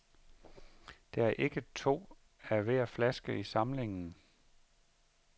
Der er ikke to af hver flaske i samlingen.